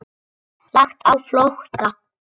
Lagt á flótta